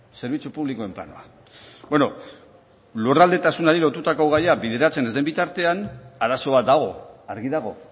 zerbitzu publikoen planoa bueno lurraldetasunari lotutako gaia bideratzen ez den bitartean arazo bat dago argi dago